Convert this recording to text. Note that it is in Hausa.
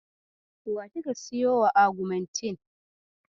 Wa kika siyowa augmentin?